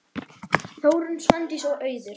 Þórunn, Svandís og Auður.